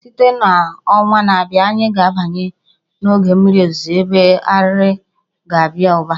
Site na ọnwa na-abịa, anyị ga-abanye n'oge mmiri ozuzo ebe Arịrị ga-aba ụba